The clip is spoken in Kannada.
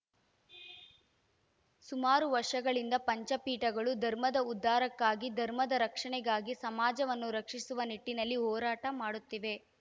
ಸುಮಾರು ವರ್ಷಗಳಿಂದ ಪಂಚಪೀಠಗಳು ಧರ್ಮದ ಉದ್ಧಾರಕ್ಕಾಗಿ ಧರ್ಮದ ರಕ್ಷಣೆಗಾಗಿ ಸಮಾಜವನ್ನು ರಕ್ಷಿಸುವ ನಿಟ್ಟಿನಲ್ಲಿ ಹೋರಾಟ ಮಾಡುತ್ತಿವೆ